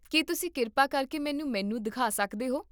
ਕੀ ਤੁਸੀਂ ਕਿਰਪਾ ਕਰਕੇ ਮੈਨੂੰ ਮੀਨੂ ਦਿਖਾ ਸਕਦੇ ਹੋ?